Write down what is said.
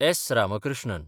S. Ramakrishnan